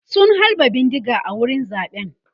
sun halba bindiga a wurin zaɓen